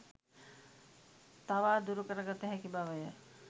තවා දුරු කරගත හැකි බවය.